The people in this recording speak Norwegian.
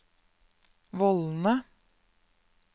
vollene